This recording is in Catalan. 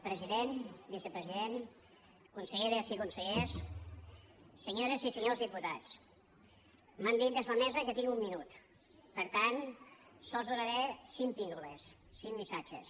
president vicepresident conselleres i consellers senyores i senyors diputats m’han dit des de la mesa que tinc un minut per tant sols donaré cinc píndoles cinc missatges